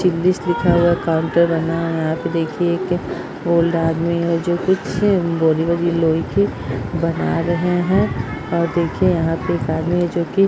English लिखा हुआ counter बना हुआ आप देखिये एक बोल रहा आदमी है जो कुछ लोइ की बना रहे हैं और देखिए यहां पे एक आदमी है जो कि --